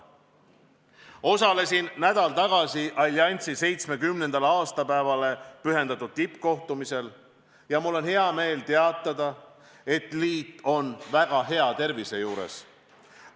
Osalesin nädal tagasi alliansi 70. aastapäevale pühendatud tippkohtumisel ja mul on hea meel teatada, et liit on väga hea tervise juures.